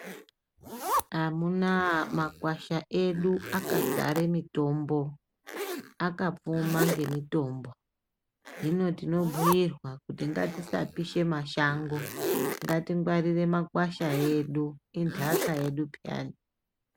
Amunaa makwasha edu akadzare mitombo, akapfuma ngemitombo, hino tinobhuirwa kuti ngatisapishe mashango. Ngatingwarire makwasha edu intaka yedu pheyani.